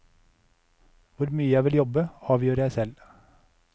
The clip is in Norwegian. Hvor mye jeg vil jobbe, avgjør jeg selv.